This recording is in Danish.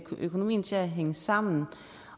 økonomien til at hænge sammen